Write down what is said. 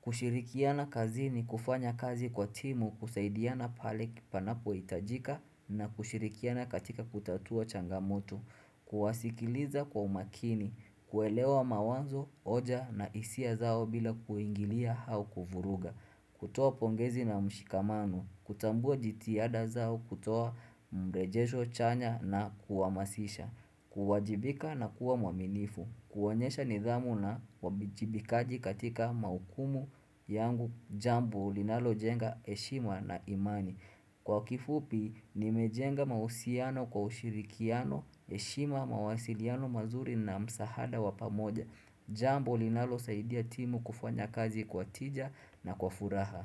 Kushirikiana kazini, kufanya kazi kwa timu, kusaidiana pale panapohitajika na kushirikiana katika kutatua changamoto. Kuwasikiliza kwa umakini, kuelewa mawazo, hoja na hisia zao bila kuingilia au kuvuruga. Kutoa pongezi na mshikamano, kutambua jitiada zao, kutoa mrejesho chanya na kuhamasisha, kuwajibika na kuwa mwaminifu, kuonyesha nidhamu na uwajibikaji katika majukumu yangu, jambo linalojenga heshima na imani. Kwa kifupi, nimejenga mahusiano kwa ushirikiano, heshima, mawasiliano mazuri na msaada wa pamoja. Jambo linalosaidia timu kufanya kazi kwa tija na kwa furaha.